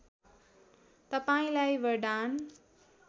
तपाईँलाई वरदान